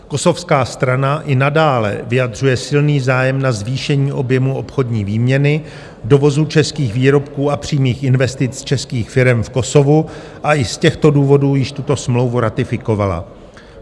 Kosovská strana i nadále vyjadřuje silný zájem na zvýšení objemu obchodní výměny, dovozu českých výrobků a přímých investic z českých firem v Kosovu a i z těchto důvodů již tuto smlouvu ratifikovala.